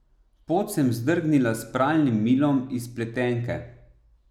Pod sem zdrgnila s pralnim milom iz pletenke.